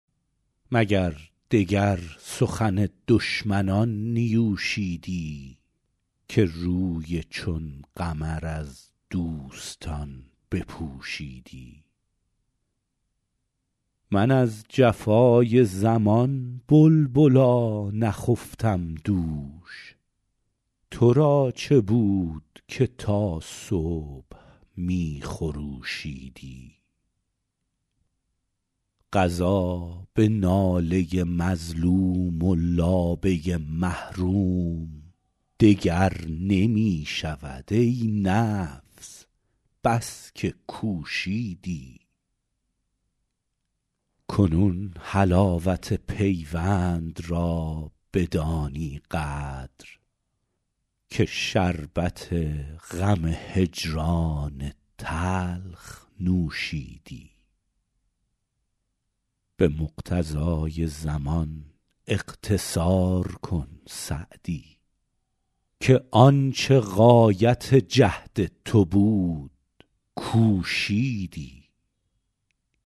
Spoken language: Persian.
مگر دگر سخن دشمنان نیوشیدی که روی چون قمر از دوستان بپوشیدی من از جفای زمان بلبلا نخفتم دوش تو را چه بود که تا صبح می خروشیدی قضا به ناله مظلوم و لابه محروم دگر نمی شود ای نفس بس که کوشیدی کنون حلاوت پیوند را بدانی قدر که شربت غم هجران تلخ نوشیدی به مقتضای زمان اقتصار کن سعدی که آن چه غایت جهد تو بود کوشیدی